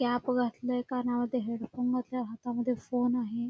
Cap घातलेय कानामध्ये headphone घातलेत हातामध्ये फोन आहे.